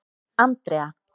Andrea